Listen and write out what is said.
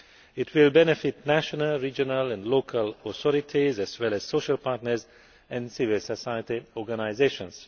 It will benefit national, regional and local authorities as well as social partners and civil society organisations.